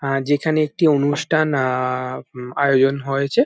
হ্যাঁ যেখানে একটি অনুষ্ঠান আ- উম আয়োজন হয়েছে।